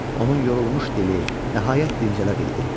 Onun yorulmuş dili nəhayət dincələ bildi.